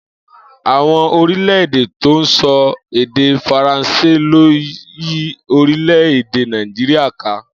Àwo̩n orílè̩-èdè tó ń so̩ èdè Faransé ló yí orílè-èdè Nàìjíríà ká